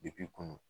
Depi kun